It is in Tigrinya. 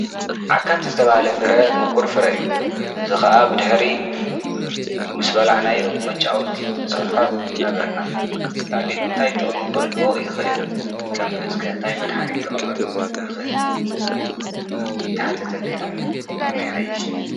ዓካት ዝተባሃለ ፍረ ሙቁር ፍረ እዩ። እዚ ከዓ ብድሕሪ ምስ በላዕናዮ መጫወቲ እንሰርሖ ነበርና። ካሊእ እንታይ ዓይነት ጠቅሚ ክህልዎ ይክእል? ከም እፅ ከ እንታይ መድሓኒት ክቅምም ይክአል? ይተሓተተለይ ዶ? ከመይ ይሓይሽ?